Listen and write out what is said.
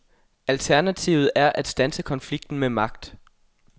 Alternativet er at standse konflikten med magt.